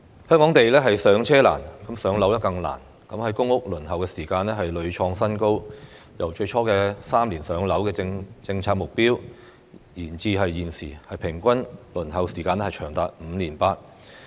香港"上車難"，"上樓更難"，公屋輪候時間屢創新高，由最初"三年上樓"的政策目標延至現時平均輪候時間長達 5.8 年。